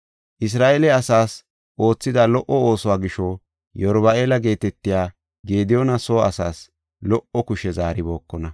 Isra7eele asaas oothida lo77o oosuwa gisho Yeruba7aala geetetiya Gediyoona soo asaas lo77o kushe zaaribookona.